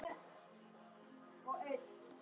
Gekk það eftir.